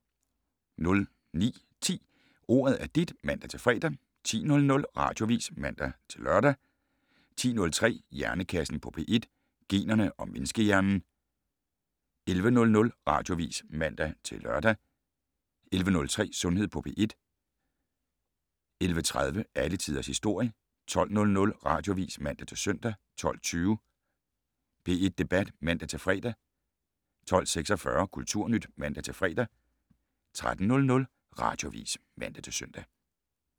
09:10: Ordet er dit (man-fre) 10:00: Radioavis (man-lør) 10:03: Hjernekassen på P1: Generne og menneskehjernen 11:00: Radioavis (man-lør) 11:03: Sundhed på P1 11:30: Alle tiders historie 12:00: Radioavis (man-søn) 12:20: P1 Debat (man-fre) 12:46: Kulturnyt (man-fre) 13:00: Radioavis (man-søn)